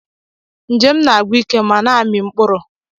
Njem m na-agwụ ike ma na-amị mkpụrụ